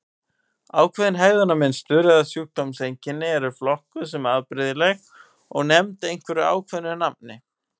Ákveðin hegðunarmynstur eða sjúkdómseinkenni eru flokkuð sem afbrigðileg og nefnd einhverju ákveðnu nafni.